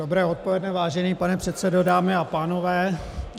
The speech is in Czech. Dobré odpoledne, vážený pane předsedo, dámy a pánové.